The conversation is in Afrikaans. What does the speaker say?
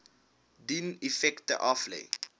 dien effekte aflê